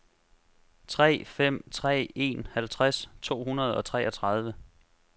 tre fem tre en halvtreds to hundrede og treogtredive